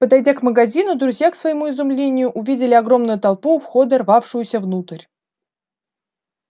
подойдя к магазину друзья к своему изумлению увидели огромную толпу у входа рвавшуюся внутрь